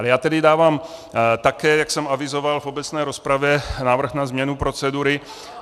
Ale já tedy dávám, tak jak jsem avizoval v obecné rozpravě, návrh na změnu procedury.